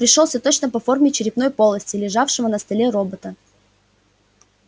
мозг пришёлся точно по форме черепной полости лежавшего на столе робота